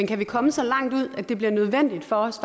kan komme så langt ud at det bliver nødvendigt for os